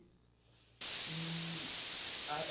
Isso. E ah eh